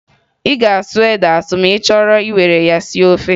Ị ga-asụ ede asụ ma ị chọọ iwere ya sie ofe